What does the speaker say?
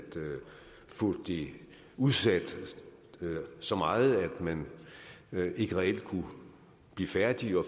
få det udsat så meget at man ikke reelt kunne blive færdig